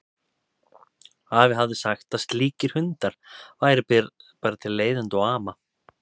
Afi hafði sagt að slíkir hundar væru bara til leiðinda og ama.